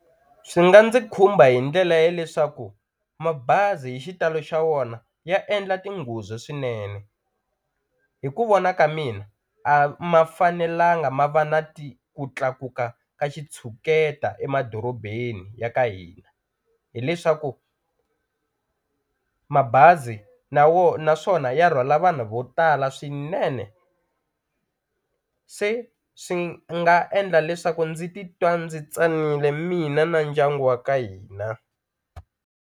Swi nga ndzi khumba hi ndlela ya leswaku mabazi hi xitalo xa wona ya endla tinghozi swinene hi ku vona ka mina a ma fanelanga ma va na ti ku tlakuka ka xitshuketa emadorobeni ya ka hina, hileswaku mabazi na naswona ya rhwala vanhu vo tala swinene se swi nga endla leswaku ndzi titwa ndzi tsanile mina na ndyangu wa ka hina.